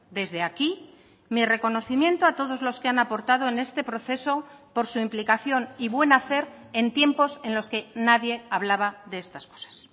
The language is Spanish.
desde aquí mi reconocimiento a todos los que han aportado en este proceso por su implicación y buen hacer en tiempos en los que nadie hablaba de estas cosas